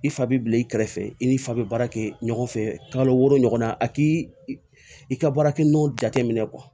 I fa bɛ bila i kɛrɛfɛ i n'i fa bɛ baara kɛ ɲɔgɔn fɛ kalo wɔɔrɔ ɲɔgɔn na a k'i i ka baarakɛ minɛnw jateminɛ